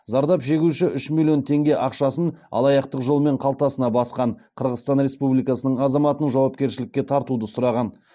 зардап шегуші үш миллион теңге ақшасын алаяқтық жолмен қалтасына басқан қырғызстан республикасының азаматын жауапкершілікке тартуды сұраған